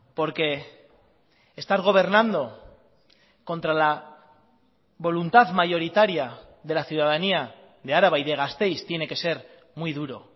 porque estar gobernando contra la voluntad mayoritaria de la ciudadanía de araba y de gasteiz tiene que ser muy duro